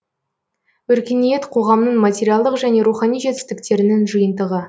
өркениет қоғамның материалдық және рухани жетістіктерінің жиынтығы